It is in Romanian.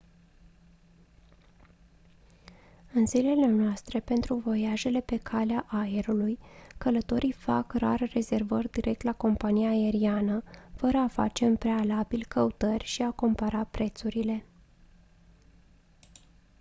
în zilele noastre pentru voiajele pe calea aerului călătorii fac rar rezervări direct la compania aeriană fără a face în prealabil căutări și a compara prețurile